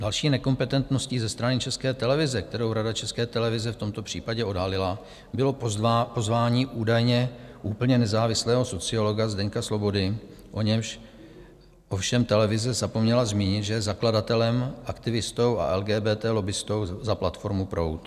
Další nekompetentností ze strany České televize, kterou Rada České televize v tomto případě odhalila, bylo pozvání údajně úplně nezávislého sociologa Zdeňka Svobody, o němž ovšem televize zapomněla zmínit, že je zakladatelem, aktivistou a LGBT lobbistou za platformu Proud.